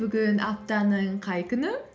бүгін аптаның қай күні